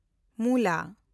ᱢᱩᱞᱟ